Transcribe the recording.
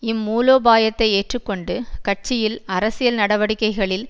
இம் மூலோபாயத்தை ஏற்று கொண்டு கட்சியில் அரசியல் நடவடிக்கைகளில்